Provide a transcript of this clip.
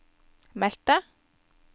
meldte